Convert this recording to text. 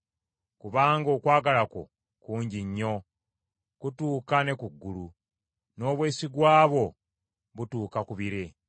Kubanga okwagala kwo kungi nnyo, kutuuka ne ku ggulu; n’obwesigwa bwo butuuka ku bire.